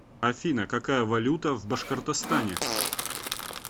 афина какая валюта в башкортостане